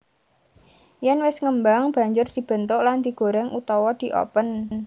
Yèn wis ngembang banjur dibentuk lan digoreng utawa diopen